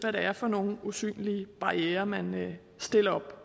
er for nogle usynlige barrierer man stiller op